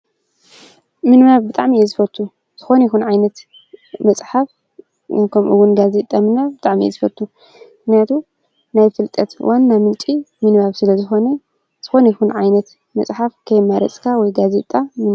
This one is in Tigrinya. ምንባብ ብጣዕሚ'የ ዝፈቱ ዝኮነ ይኩን ዓይነት መፅሓፍ ከምኡ እዉን ጋዜጣ ምንባብ ብጣዕሚ እየ ዝፈቱ። ሞክንያቱ ናይ ፍልጠት ዋና ምንጪ ምንባብ ስለ ዝኮነ ዝኮነ ይኩን ዓይነት መፅሓፍ ከይመረፅኻ ወይ ጋዜጣ ምንባብ ።